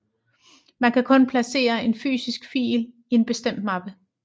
Man kan kun placere en fysisk fil i en bestemt mappe